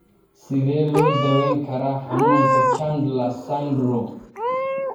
Sidee loo daweyn karaa xanuunka Chandler's syndrome?